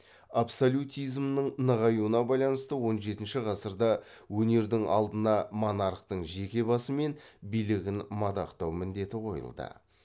абсолютизмнің нығаюына байланысты он жетінші ғасырда өнердің алдына монархтың жеке басы мен билігін мадақтау міндеті қойылды